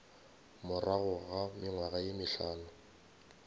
morago ga mengwaga ye mehlano